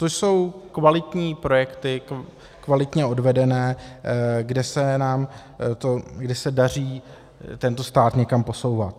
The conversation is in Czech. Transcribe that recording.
To jsou kvalitní projekty, kvalitně odvedené, kde se daří tento stát někam posouvat.